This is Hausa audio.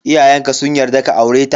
Iyayenka sun yarda ka aure ta?